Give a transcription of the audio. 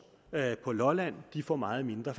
og lolland får meget mindre